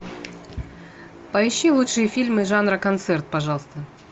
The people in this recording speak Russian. поищи лучшие фильмы жанра концерт пожалуйста